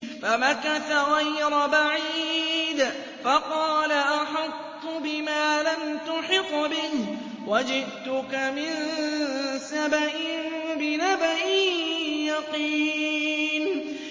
فَمَكَثَ غَيْرَ بَعِيدٍ فَقَالَ أَحَطتُ بِمَا لَمْ تُحِطْ بِهِ وَجِئْتُكَ مِن سَبَإٍ بِنَبَإٍ يَقِينٍ